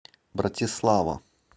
братислава